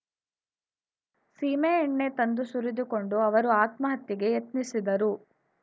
ಸೀಮೆಎಣ್ಣೆ ತಂದು ಸುರಿದುಕೊಂಡು ಅವರು ಆತ್ಮಹತ್ಯೆಗೆ ಯತ್ನಿಸಿದರು